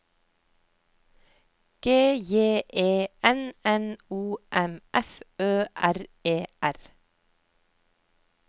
G J E N N O M F Ø R E R